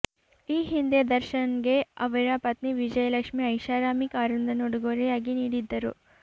ಈ ಹಿಂದೆ ದರ್ಶನ್ಗೆ ಅವರ ಪತ್ನಿ ವಿಜಂುುಲಕ್ಷ್ಮಿ ಐಶಾರಾಮಿ ಕಾರೊಂದನ್ನು ಉಡುಗೊರೆಂುುಾಗಿ ನೀಡಿದ್ದರು